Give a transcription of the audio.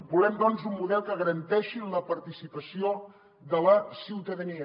volem doncs un model que garanteixi la participació de la ciutadania